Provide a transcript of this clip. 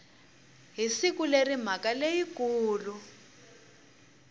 hi siku leri mhaka leyikulu